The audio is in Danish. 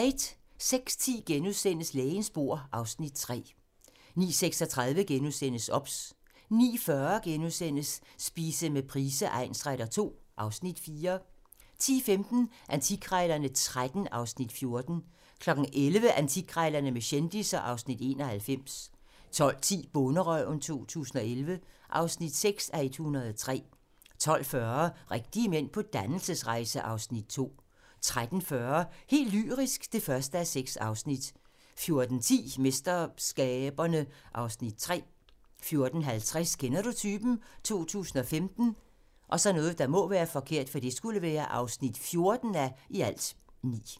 06:10: Lægens bord (Afs. 3)* 09:36: OBS * 09:40: Spise med Price egnsretter II (Afs. 4)* 10:15: Antikkrejlerne XIII (Afs. 14) 11:00: Antikkrejlerne med kendisser (Afs. 91) 12:10: Bonderøven 2011 (6:103) 12:40: Rigtige mænd på dannelsesrejse (Afs. 2) 13:40: Helt lyrisk (1:6) 14:10: MesterSkaberne (Afs. 3) 14:50: Kender du typen? 2015 (14:9)